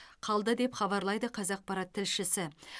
қалды деп хабарлайды қазақпарат тілшісі